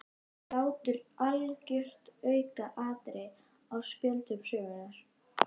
Hlátur algjört aukaatriði á spjöldum sögunnar.